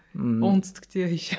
ммм оңтүстікте еще